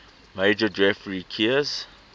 major geoffrey keyes